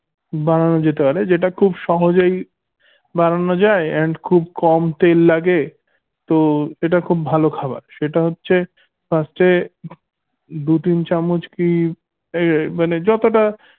বানানো যেতে পারে যেটা খুব সহজেই বানানো যায় and খুব কম তেল লাগে তো এটা খুব ভালো খাবার সেটা হচ্ছে first এ দু তিন চামচ এই মানে যতটা